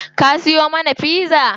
Ka siyo mana pizza?